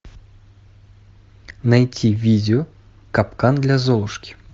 найти видео капкан для золушки